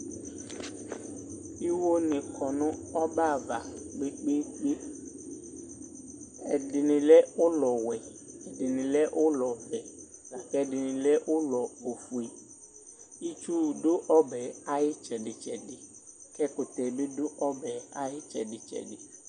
Iwo ni kɔ nɔbɛava kpekpeekpe Ɛdini lɛ ulɔwɛ ɛdini lɛ ulɔvɛ akɛdini lɛ ulɔ ofue Itsu du ɔbɛ ayu itsɛditsɛdi kɛkutɛ bidu ɔbɛ ayi tsɛditsɛdi